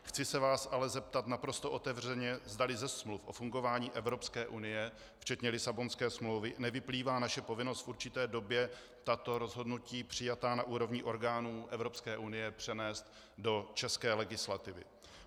Chci se vás ale zeptat naprosto otevřeně, zdali ze smluv o fungování Evropské unie, včetně Lisabonské smlouvy, nevyplývá naše povinnost v určité době tato rozhodnutí přijatá na úrovni orgánu Evropské unie přenést do české legislativy.